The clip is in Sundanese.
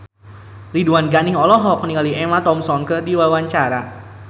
Ridwan Ghani olohok ningali Emma Thompson keur diwawancara